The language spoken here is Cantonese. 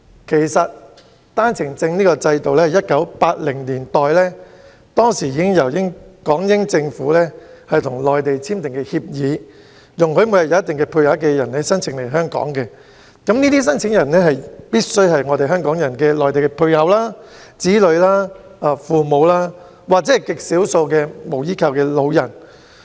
其實，單程證制度源於1980年代港英政府跟內地簽訂的協議，容許每天有一定配額人士申請來港，這些申請人必須是香港人的內地配偶、子女、父母，在極少數情況下也可以是無依靠的老人。